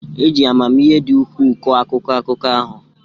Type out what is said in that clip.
E ji amamihe dị ukwuu kọọ akụkọ akụkọ ahụ.